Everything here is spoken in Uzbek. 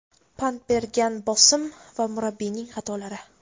pand bergan bosim va murabbiyning xatolari.